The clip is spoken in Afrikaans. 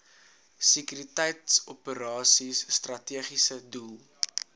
sekuriteitsoperasies strategiese doel